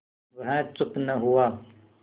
वह चुप न हुआ